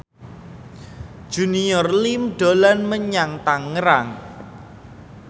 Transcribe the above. Junior Liem dolan menyang Tangerang